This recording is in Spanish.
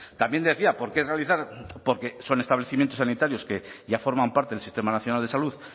también decía por qué realizar porque son establecimientos sanitarios que ya forman parte del sistema nacional de salud